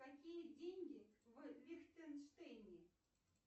какие деньги в лихтенштейне